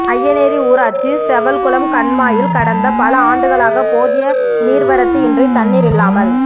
அய்யனேரி ஊராட்சி செவல்குளம் கண்மாயில் கடந்த பல ஆண்டுகளாக போதிய நீா்வரத்து இன்றி தண்ணீா் இல்லாமல்